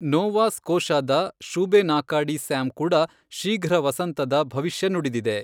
ನೋವಾ ಸ್ಕೋಷಾದ Shubenacadie Sam ಕೂಡ ಶೀಘ್ರ ವಸಂತದ ಭವಿಷ್ಯ ನುಡಿದಿದೆ.